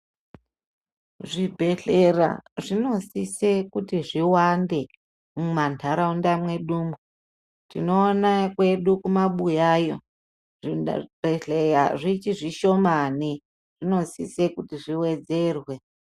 Zvibhedhlera zvinosise kuti zviwande muma ntaraunda mwedu umu tinoona kwedu kumabuya iyo zvi bhedhleya zvichi zvishomani zvinosise kuti zviwedzerwe .